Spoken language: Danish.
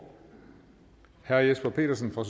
herre jesper petersen fra